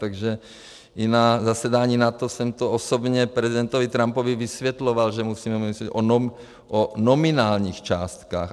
Takže i na zasedání NATO jsem to osobně prezidentovi Trumpovi vysvětloval, že musíme mluvit o nominálních částkách.